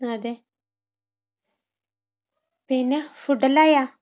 അതെ. പിന്നെ, ഫുഡെല്ലാം ആയ?